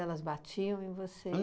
batiam em você?